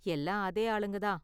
எல்லாம் அதே ஆளுங்கதான்.